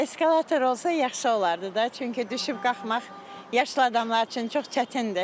Eskalator olsa yaxşı olardı da, çünki düşüb qalxmaq yaşlı adamlar üçün çox çətindir.